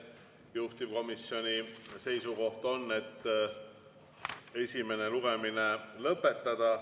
Juhtivkomisjoni seisukoht on, et esimene lugemine lõpetada.